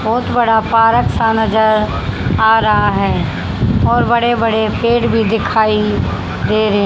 बहुत बड़ा पार्क सा नजर आ रहा है और बड़े-बड़े पेड़ भी दिखाई दे रहे --